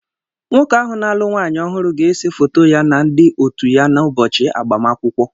Nwoke ahụ na-alụ nwanyị ọhụrụ ga-ese foto ya na ndi otu ya n'ụbọchị agbamakwụkwọ.